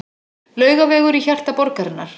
Laugavegur í hjarta borgarinnar.